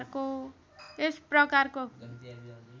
यस प्रकारको